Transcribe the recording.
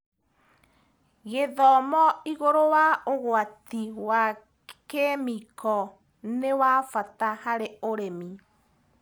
Gĩthomo igũrũ wa ũgwati wa kĩmĩko nĩwabata harĩ arĩmi.